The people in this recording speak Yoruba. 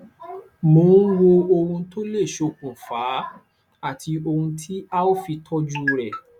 mò ń wo ohun tó lè ṣokùnfa á àti ohun tí a ó fi tọjú rẹ